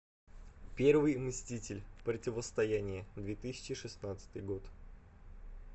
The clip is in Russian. первый мститель противостояние две тысячи шестнадцатый год